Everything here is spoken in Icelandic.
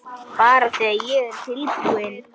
Bara þegar ég er tilbúin